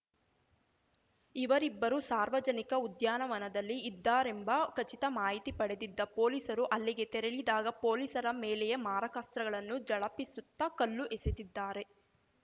ಇವರಿಬ್ಬರೂ ಸಾರ್ವಜನಿಕ ಉದ್ಯಾನವನದಲ್ಲಿ ಇದ್ದಾರೆಂಬ ಖಚಿತ ಮಾಹಿತಿ ಪಡೆದಿದ್ದ ಪೊಲೀಸರು ಅಲ್ಲಿಗೆ ತೆರಳಿದಾಗ ಪೊಲೀಸರ ಮೇಲೆಯೇ ಮಾರಕಾಸ್ತ್ರಗಳನ್ನು ಝಳಪಿಸುತ್ತ ಕಲ್ಲು ಎಸೆದಿದ್ದಾರೆ